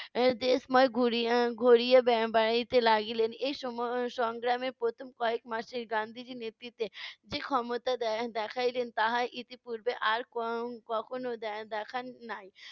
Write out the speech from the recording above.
এর দেশময় ঘুরি~ উম ঘুরিয়া বেড়া~ এর বেড়াইতে লাগিলেন। এসময় সংগ্রামে প্রথম কয়েকমাসে গান্ধিজীর নেতৃত্বে যে ক্ষমতা দে~ দেখাইলেন তাহা ইতিপূর্বে আর ক~ কখন দে~ দেখান নাই।